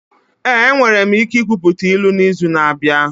Ee, enwere m ike ikwuputa ilu n'izu na-abịa.